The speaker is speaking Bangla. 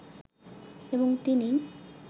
এবং তিনিই